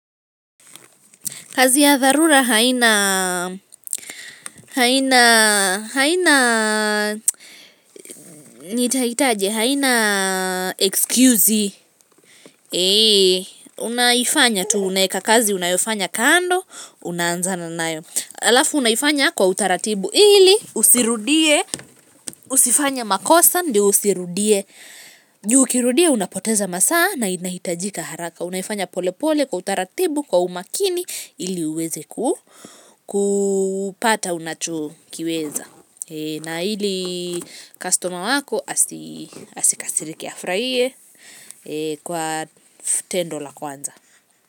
Kazi ya dharura haina, haina, haina, nitaitaje, haina, excuse, ee, unaifanya tu unaeka kazi, unayofanya kando, unaanzana nayo. Halafu unaifanya kwa utaratibu, ili usirudie, usifanye makosa, ndio usirudie, juu ukirudia, unapoteza masaa, na inahitajika haraka. Unaifanya pole pole kwa utaratibu kwa umakini ili uweze kupata unachokiweza. Na ili kastoma wako asikasirike afurahie kwa tendo la kwanza.